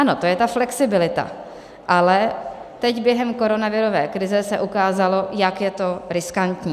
Ano, to je ta flexibilita, ale teď během koronavirové krize se ukázalo, jak je to riskantní.